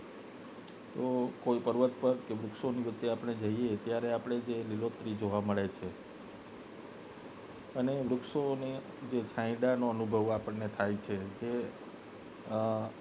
તો કોઈ પર્વત પર કે વૃક્ષો વચ્ચે આપને જઈ ત્યારે જે લીલોતરી જોવા મળે છે અને વૃક્ષો ની છાયડા નો અનુભવ આપને થાય છે તે આ